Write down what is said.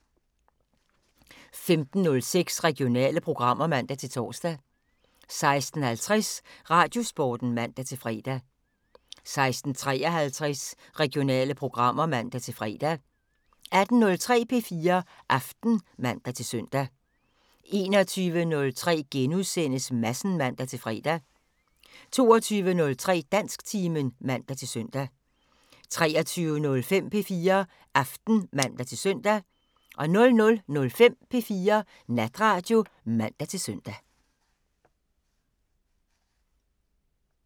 15:06: Regionale programmer (man-tor) 16:50: Radiosporten (man-fre) 16:53: Regionale programmer (man-fre) 18:03: P4 Aften (man-søn) 21:03: Madsen *(man-fre) 22:03: Dansktimen (man-søn) 23:05: P4 Aften (man-søn) 00:05: P4 Natradio (man-søn)